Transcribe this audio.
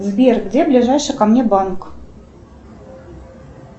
сбер где ближайший ко мне банк